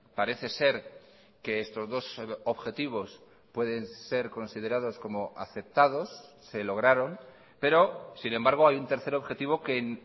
parece ser que estos dos objetivos pueden ser considerados como aceptados se lograron pero sin embargo hay un tercer objetivo que en